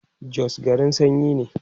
Jos garin sanyi ne